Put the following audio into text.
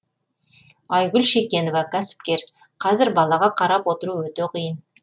айгүл шекенова кәсіпкер қазір балаға қарап отыру өте қиын